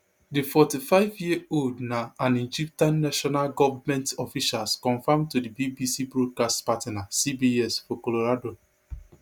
di forty-fiveyear old na an egyptian national govment officials confam to di bbc broadcast partner cbs for colorado